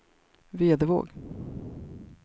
Vedevåg